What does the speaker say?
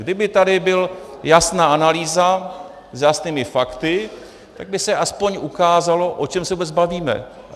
Kdyby tady byla jasná analýza s jasnými fakty, tak by se aspoň ukázalo, o čem se vůbec bavíme.